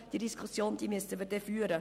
Diese Diskussion müssten wir dann führen.